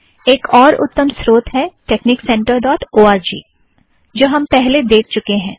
एक और उत्तम स्रोत है texniccentreओआरजी TeXnic Center dot O R G जो हम पहले देख चुके हैं